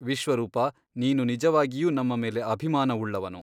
ವಿಶ್ವರೂಪ ನೀನು ನಿಜವಾಗಿಯೂ ನಮ್ಮ ಮೇಲೆ ಅಭಿಮಾನವುಳ್ಳವನು.